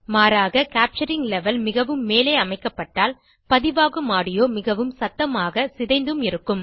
மாறாக capturing level மிகவும் மேலே அமைக்கப்பட்டால் பதிவாகும் ஆடியோ மிகவும் சத்தமாக சிதைந்தும் இருக்கும்